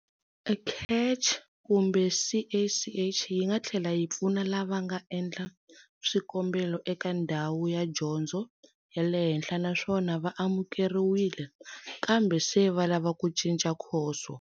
CACH yi nga tlhela yi pfuna lava nga endla swikombelo eka ndhawu ya dyondzo ya le henhla naswona va amukeriwile, kambe se va lava ku cinca khoso.